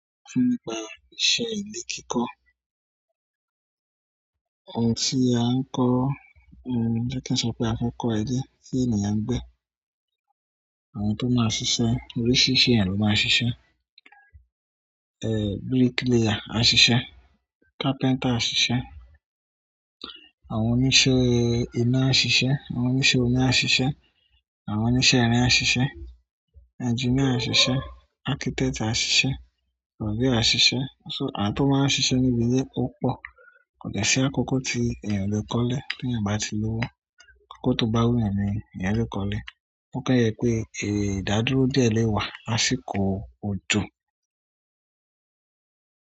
Se nípa iṣẹ́ ile kiko ohun tí a ń kọ́, bí kí n sọ pé a fẹ́ kọ́ ẹ dé, tí ènìyàn ń gbé, àwọn tó máa ń ṣiṣẹ́, oríṣiríṣi ẹ̀yàn ló máa ń ṣiṣẹ́. Eh, bricklayer á ṣiṣẹ́, carpenter á ṣiṣẹ́, àwọn oníṣẹ́ iná á ṣiṣẹ́, àwọn oníṣẹ́ omi á ṣiṣẹ́, àwọn oníṣẹ́ irin á ṣiṣẹ́, engineer á ṣiṣẹ́, architect á ṣiṣẹ́, surveyor á ṣiṣẹ́. So, àwọn tó máa ń ṣiṣẹ́ níbí ilé kò pọ̀, kò dẹ́ṣí àkókò tí ènìyàn o le kọ́lé tí ènìyàn bá ti lówó. Àkókò tó bá wù ènìyàn ni ènìyàn lè kọ́lé. O kan je pe ida dúró díẹ̀ le wa ni àsìkò ojo.